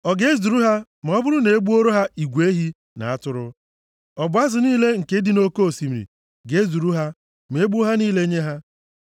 Ọ ga-ezuru ha ma ọ bụrụ na e gbuoro ha igwe ehi na atụrụ? Ọ bụ azụ niile nke dị nʼoke osimiri ga-ezuru ha ma egbuo ha niile nye ha?”